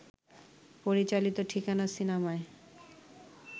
পরিচালিত ঠিকানা সিনেমায়